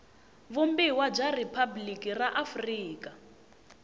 vumbiwa bya riphabliki ra afrika